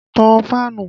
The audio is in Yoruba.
Tan fáànù!